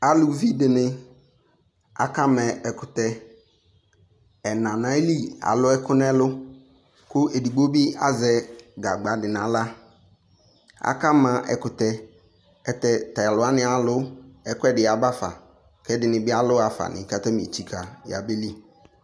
aluvi di ni aka ma ɛkutɛ ɛna n'ayili alò ɛkò n'ɛlu kò edigbo bi azɛ gagba di n'ala aka ma ɛkutɛ ɛlutɛ t'alò wani alu ɛkò ɛdi ya ba fa k'ɛdini bi alò ɣa fa ni k'atani etsika ya beli